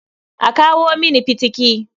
A kawo mini fitiki.